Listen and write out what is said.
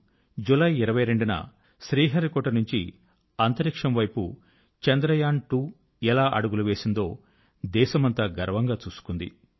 ఇక ఇప్పుడు జులై 22వ తేదీన దేశమంతా శ్రీహరికోట నుంచి అంతరిక్షం వైపు చంద్రయాన్2 ఎలా అడుగులు వేసిందో దేశమంతా గర్వంగా చూసుకుంది